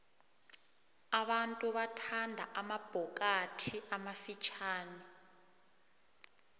abantu bathanda amabhokathi amafitjhani